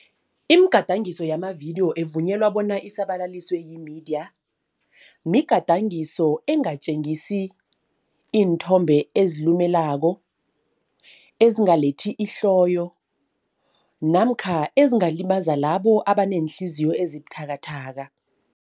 Imigadangiso yamavidiyo evunyelwa bona isabalaliswe yimediya. Migadangiso engatjengisi iinthombe ezilumelako, ezingalethi ihloyo namkha ezingalimaza labo abaneenhliziyo ezibuthakathaka.